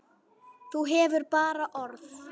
Þú hefur bara orð.